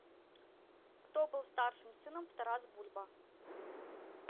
кто был старшим сыном в тарас бульба